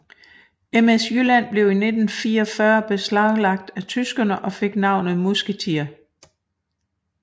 MS Jylland blev i 1944 beslaglagt af tyskerne og fik navnet Musketier